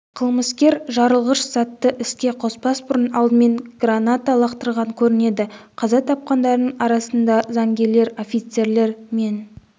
қылмыскер жарылғыш затты іске қоспас бұрын алдымен граната лақтырған көрінеді қаза тапқандардың арасында заңгерлер офицерлер мен